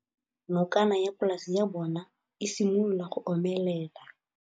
Nokana ya polase ya bona, e simolola go omelela.